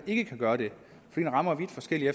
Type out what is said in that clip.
ikke gør det den rammer vidt forskelligt